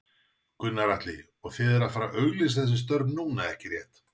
Gunnar Atli: Og þið eruð að fara auglýsa þessi störf núna, ekki rétt?